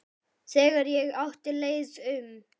Þegar ég átti leið um